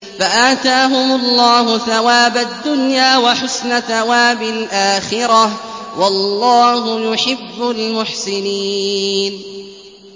فَآتَاهُمُ اللَّهُ ثَوَابَ الدُّنْيَا وَحُسْنَ ثَوَابِ الْآخِرَةِ ۗ وَاللَّهُ يُحِبُّ الْمُحْسِنِينَ